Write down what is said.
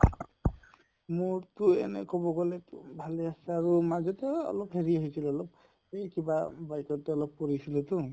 মোৰ টো এনে কʼব গʼলে টো ভালে আছে আৰু মাজতে এই অলপ হেৰি হৈছিলে অলপ, এই কিবাআ bike ত অলপ পৰিছিলো তো